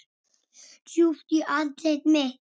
Djúpt í andlit mitt.